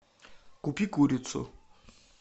купи курицу